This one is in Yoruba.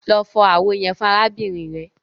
Lọ fọ awo yẹn fun arabinrin rẹ!